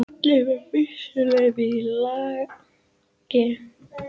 Allir með byssuleyfi í lagi